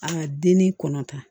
An ka denni kɔnɔ ta